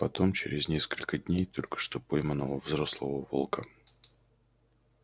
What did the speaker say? потом через несколько дней только что пойманного взрослого волка